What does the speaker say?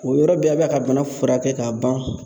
O yɔrɔ bɛɛ a bɛ ka bana furakɛ ka ban